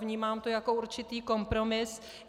Vnímám to jako určitý kompromis.